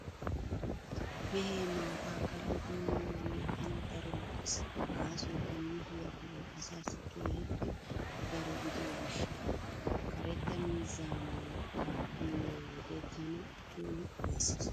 Mehee maataa kallidi miyoogee tan daro lo'ees , gaasoykka mehiyaa go'ay asaassi keehippe daro gidiyo gishshawu. Karetta miizzaa maattaa uyiyo wode tana keehi ufayssees.